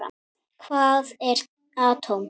Hvað er atóm?